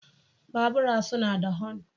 Bubura suna da hon.